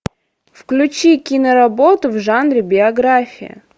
включи киноработу в жанре биография